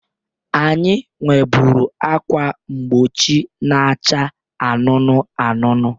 Anyị nweburu ákwà mgbochi na-acha anụnụ anụnụ.